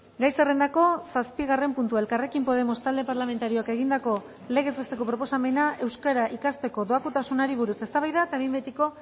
gai zerrendako zazpigarren puntua elkarrekin podemos talde parlamentarioak egindako legez besteko proposamena euskara ikasteko doakotasunari buruz eztabaida eta behin betiko